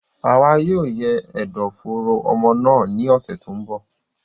Àwa yóò yẹ ẹdọ fooro ọmọ náà ní ọsẹ tó n bọ